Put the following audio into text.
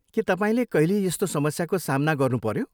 के तपाईँले कहिले यस्तो समस्याको सामना गर्नुपऱ्यो?